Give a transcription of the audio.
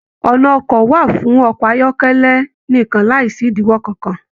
Ọnà ọkọ wà fún ọkọ ayọkẹlẹ nìkan láìsí idiwọ kankan